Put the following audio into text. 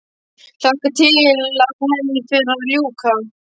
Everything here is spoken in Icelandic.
Hlakka til að henni fer að ljúka.